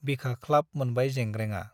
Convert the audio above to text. बिखा ख्लाब मोनबाय जेंग्रेंआ।